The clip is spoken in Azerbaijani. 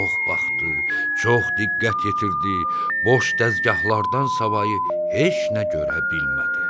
Çox baxdı, çox diqqət yetirdi, boş dəzgahllardan savayı heç nə görə bilmədi.